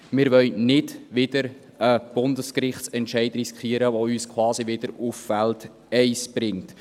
Wir wollen nicht wieder einen Bundesgerichtsentscheid riskieren, der uns quasi wieder auf Feld eins bringt.